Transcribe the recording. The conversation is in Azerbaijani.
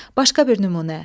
Başqa bir nümunə.